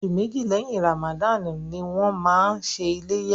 Oṣù méjì lẹ́yìn Ramadan ni wọ́n máa ṣe iléyá.